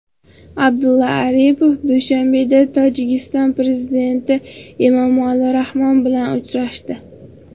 Abdulla Aripov Dushanbeda Tojikiston prezidenti Emomali Rahmon bilan uchrashdi.